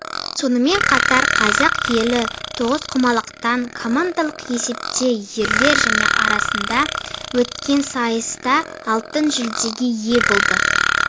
сонымен қатар қазақ елі тоғызқұмалақтан командалық есепте ерлер және арасында өткен сайыста алтын жүлдеге ие болды